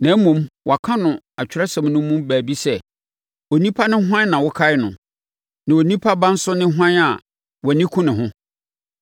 Na mmom, wɔaka no Atwerɛsɛm no mu baabi sɛ: “Onipa ne hwan a wokae no; na onipa ba nso ne hwan a wʼani ku ne ho?